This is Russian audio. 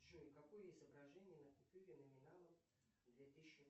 джой какое изображение на купюре номиналом две тысячи